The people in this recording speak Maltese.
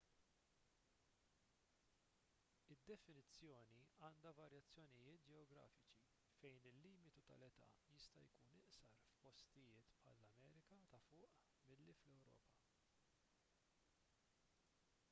id-definizzjoni għandha varjazzjonijiet ġeografiċi fejn il-limitu tal-età jista' jkun iqsar f'postijiet bħall-amerika ta' fuq milli fl-ewropa